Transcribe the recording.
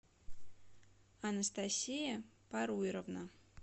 анастасия паруйровна